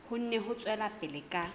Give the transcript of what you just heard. kgone ho tswela pele ka